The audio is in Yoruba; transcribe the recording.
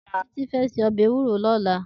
Titi fè sé òbè éwúró lòlá